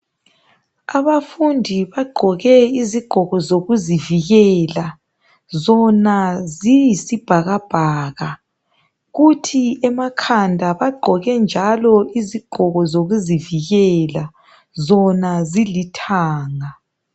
Abafundi bagqoke izigqoko zokuzivikela, zona ziyisibhakabhaka kuthi emakhanda bagqoke njalo izigqoko zokuzivikela ,zona zilithanga.